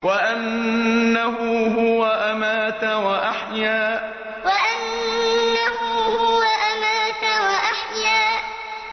وَأَنَّهُ هُوَ أَمَاتَ وَأَحْيَا وَأَنَّهُ هُوَ أَمَاتَ وَأَحْيَا